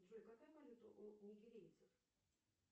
джой какая валюта у нигерийцев